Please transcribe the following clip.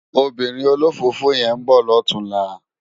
Óbìrín ólófófó yèn n bò lòtúnlá